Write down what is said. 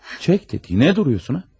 Çək də dediyimə durursan ha.